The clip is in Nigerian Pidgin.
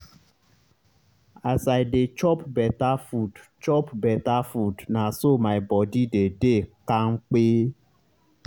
as i dey chop beta food chop beta food na so my body dey dey kampe